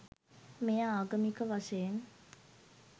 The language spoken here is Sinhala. මෙය ආගමික වශයෙන්